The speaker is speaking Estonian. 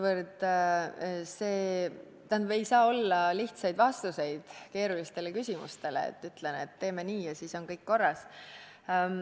Aga ei saa olla lihtsaid vastuseid keerulistele küsimustele, et ütlen: teeme nii ja siis on kõik korras.